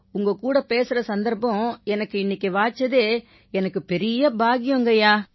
உங்க கூட பேசற சந்தர்ப்பம் எனக்கு இன்னைக்கு வாய்ச்சதே எனக்குப் பெரிய பாக்கியம்ங்கய்யா